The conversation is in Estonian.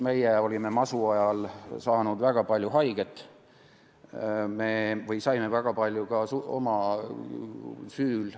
Meie olime masu ajal saanud väga palju haiget, me saime väga palju haiget ka oma süül.